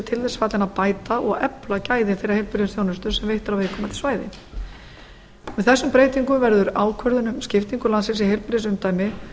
til þess fallin að bæta og efla gæði þeirrar heilbrigðisþjónustu sem veitt er á viðkomandi svæði með þessum breytingum verður ákvörðun um skiptingu landsins í heilbrigðisumdæmi